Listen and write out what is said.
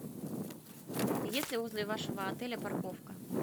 есть ли возле вашего отеля парковка